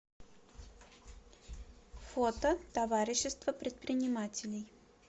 фото товарищество предпринимателей